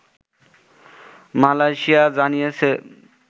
Malaysia জানিয়েছে